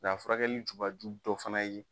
Nk'a furakɛli jubaju dɔ fana ye